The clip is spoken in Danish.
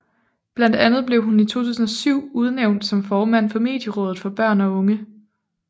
Blandt andet blev hun i 2007 udnævnt som formand for Medierådet for Børn og Unge